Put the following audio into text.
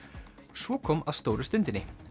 svo kom að stóru stundinni